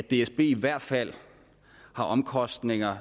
dsb i hvert fald har omkostninger